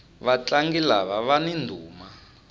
vatlangi lava vani ndhuma